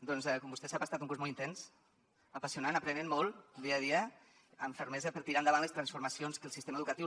doncs com vostè sap ha estat un curs molt intens apassionant aprenent molt dia a dia amb fermesa per tirar endavant les transformacions que el sistema educatiu